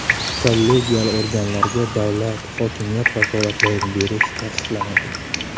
Kollegial organlarga davlat-hokimiyat vakolatlarini berish taqiqlanadi.